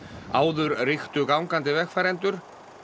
áður ríktu gangandi vegfarendur